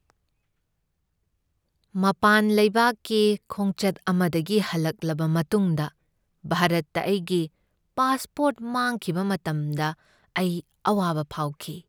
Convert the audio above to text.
ꯃꯄꯥꯟ ꯂꯩꯕꯥꯛꯀꯤ ꯈꯣꯡꯆꯠ ꯑꯃꯗꯒꯤ ꯍꯜꯂꯛꯂꯕ ꯃꯇꯨꯡꯗ ꯚꯥꯔꯠꯇ ꯑꯩꯒꯤ ꯄꯥꯁꯄꯣꯔꯠ ꯃꯥꯡꯈꯤꯕ ꯃꯇꯝꯗ ꯑꯩ ꯑꯋꯥꯕ ꯐꯥꯎꯈꯤ꯫